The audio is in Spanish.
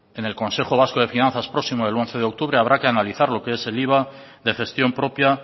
en el consejo vasco de finanzas próximo el once de octubre habrá que analizar lo qué es el iva de gestión propia